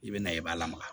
I bɛ na i b'a lamaga